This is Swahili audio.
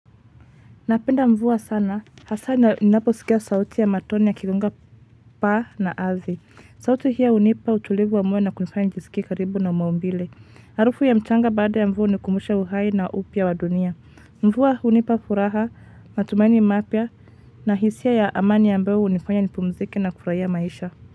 Napenda mvua sana. Hasa ninapo skia sauti ya matone yakianguka paa na ardhi sauti hiyo unipa utulivu wa moyo na kunifanya nijiskie karibu na maumbile. Harufu ya mchanga baada ya mvua hunikumbusha uhai na upya wa dunia. Mvua hunipa furaha, matumaini mapya na hisia ya amani ambayo unifanya nipumzike na kufurahia maisha.